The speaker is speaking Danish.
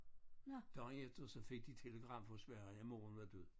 Dagen efter så fik de telegram fra Sverige moren var død